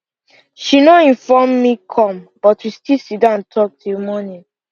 she no inform me come but we still sitdon talk till morning